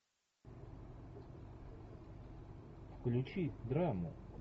включи драму